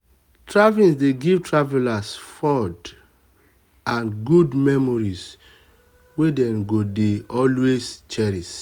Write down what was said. traveling dey give travelers fond and good memories wey dem go dey always cherish.